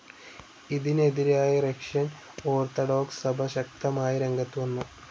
ഇതിനെതിരായി Russian Orthodox സഭ ശക്തമായി രംഗത്ത് വന്നു.